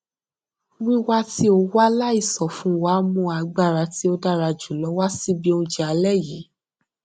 wíwá tí o wá láìsọ fún wa mú agbára tí ó dára jù lọ wá síbi oúnjẹ alé yìí